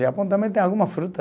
Japão também tem alguma fruta.